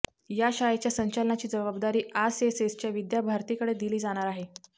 या शाळेच्या संचालनाची जबाबदारी आसएसएसच्या विद्या भारतीकडे दिली जाणार आहे